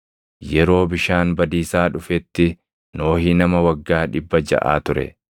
Yeroo bishaan badiisaa dhufetti Nohi nama waggaa dhibba jaʼa ture.